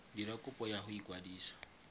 dira kopo ya go ikwadisetsa